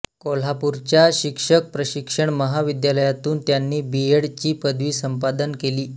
कोल्हापूरच्या शिक्षक प्रशिक्षण महाविद्यालयातून त्यांनी बी एड ची पदवी संपादन केली